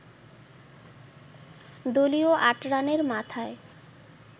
দলীয় আট রানের মাথায়